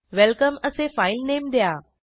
welcome असे filename द्या